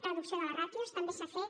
reducció de les ràtios també s’ha fet